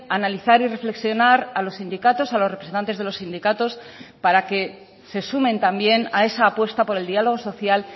analizar y reflexionar a los sindicatos a los representantes de los sindicatos para que se sumen también a esa apuesta por el diálogo social